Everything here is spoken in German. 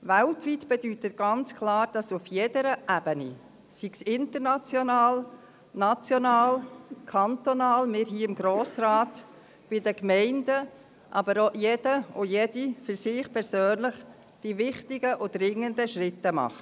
«Weltweit» bedeutet ganz klar, dass auf jeder Ebene, sei es international, national oder kantonal, wie hier im Grossen Rat, bei den Gemeinden, aber auch bei jedem und jeder für sich persönlich die wichtigen, dringenden Schritte getan werden.